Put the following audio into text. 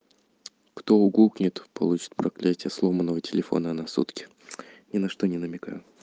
кто угукнет тот получит проклятие сломанного телефона на сутки ни на что не намекаю